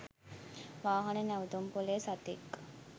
වාහන නැවතුම්පොලේ සතෙක්